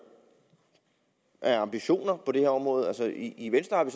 af ambitioner på det her område altså i venstre har vi